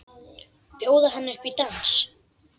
Bjóða henni upp í dans!